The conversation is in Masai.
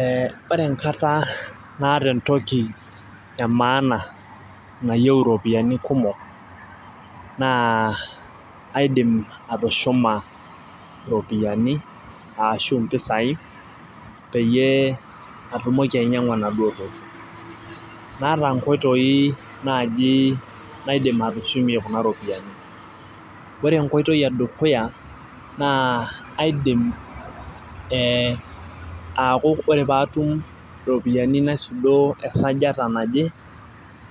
ee ore enkata naaata entoki emaana nayieu iropiyiani kumok, na kaidim atushuma iropiyiania shu imoisai, peyie atumoki ainyiang'u enaduoo toki. naata nkoitoi naaji naidim atushumie kunaropiyiani, ore nekoitoi edukya naa aidim, ee aaku ore poee etnasot nena um iropiyiani naisudo esajata naje